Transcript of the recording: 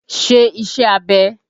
Ṣé ìṣe abẹ́!